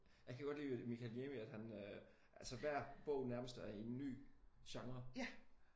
Jeg kan godt lide ved Mikael Niemi at han øh altså hver bog nærmest er i en ny genre